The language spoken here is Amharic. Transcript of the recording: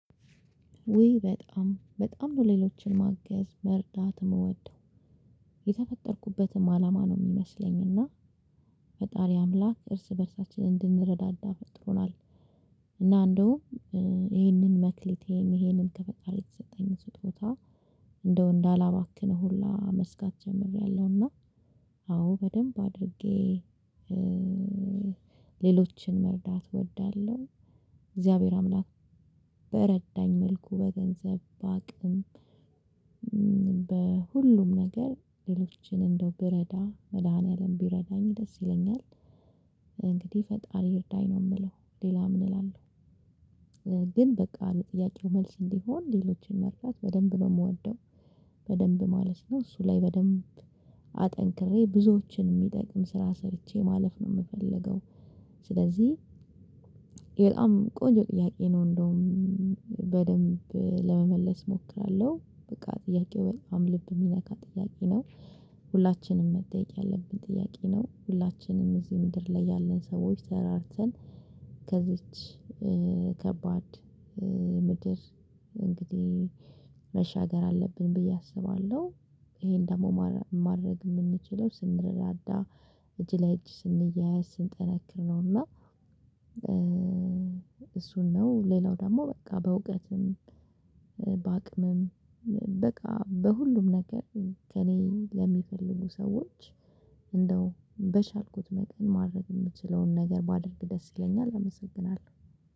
ውይ በጣም፤ በጣም ነው ሌሎችን ማገዝ፣ መርዳት፣ የምወደው የተፈጠርኩበትም አላማ ነው የሚመስለኝ፤ እና ፈጣሪ አምላክ እርስ በእርሳችን እንድንረዳዳ ፈጥሮናል፤ እና እንደውም ይሄንን መክሊቴን፤ ይሄንን ከፈጣሪ የተሰጠኝን ስጦታ እንደው እንዳላባክን ሁላ መስጋት ጀምሬያለሁና፤ አዎ፣ በደንብ አድርጌ ሌሎችን መርዳት እወዳለሁ፤ እግዚአብሔር አምላክ በረዳኝ መልኩ በገንዘብ፣ በአቅም በሁሉም ነገር ሌሎችን እንደው ብረዳ፤ መድኃኒዓለም ቢረዳኝ ደስ ይለኛል፤ እንግዲህ ፈጣሪ ይርዳኝ ነው የምለው፤ ሌላ ምን እላለሁ፤ ግን በቃ ለጥያቄው መልስ እንዲሆን ሌሎችን መርዳት በደንብ ነው የምወደው በደንብ ማለት ነው፤ እሱ ላይ በደንብ አጠንክሬ ብዙዎችን የሚጠቅም ስራ ሰርቼ ማለፍ ነው የምፈልገው፤ ስለዚህ ይህ በጣም ቆንጆ ጥያቄ ነው፤ እንደውም በደንብ ለመመለስ እሞክራለሁ፤ በቃ ጥያቄው በጣም ልብ የሚነካ ጥያቄ ነው፤ ሁላችንም መጠየቅ ያለብን ጥያቄ ነው፤ ሁላችንም እዚህ ምድር ላይ ያለን ሰዎች ተረዳድተን ከዚች ከባድ ምድር እንግዲህ መሻገር አለብን ብዬ አስባለሁ፤ ይሄን ደግሞ ማድረግ የምንችለው፤ ስንረዳዳ፣ እጅ ለ እጅ ስንያያዝ፣ ስንጠነክር፣ ነው እና አሱ ነው፤ ሌላው ደግሞ በቃ በእውቀትም በአቅምም፣ በቃ በሁሉም ነገር ከእኔ ለሚፈልጉ ሰዎች እንደው በቻልኩት መጠን ማድረግ የምችለውን ነገር ማድረግ ደስ ይለኛል፤ አመሰግናለሁ፤